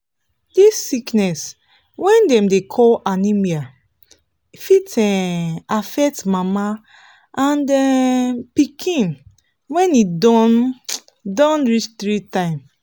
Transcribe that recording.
this sickness wey dem dey call anemia fit um affect mama and um pikin when e don don reach three time